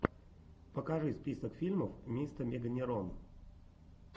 покажи список фильмов мистэмеганерон